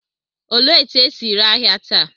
Olee otú e si ere ahịa taa?